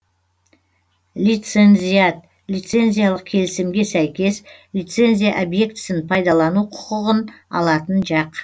лицензиат лицензиялық келісімге сәйкес лицензия объектісін пайдалану құқығын алатын жақ